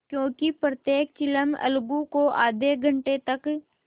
क्योंकि प्रत्येक चिलम अलगू को आध घंटे तक